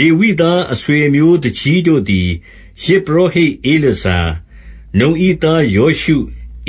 လေဝိသား အဆွေအမျိုးသူကြီးတို့သည်၊ ယဇ်ပု ရောဟိတ်ဧလာဇာ၊ နုန်၏သားယောရှု